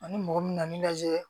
Ani mɔgɔ min na n'i lajɛ